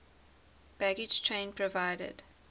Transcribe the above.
baggage train provided